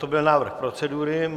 To byl návrh procedury.